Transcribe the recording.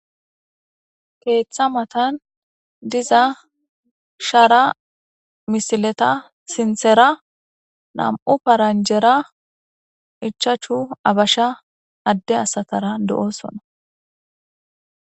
Keeththa matan diza shaara misileta sinthera nam7u paranjera ichachu abasha adde asatara do7osona